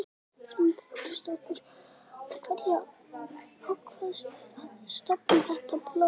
Hrund Þórsdóttir: Af hverju ákvaðstu að stofna þetta blogg?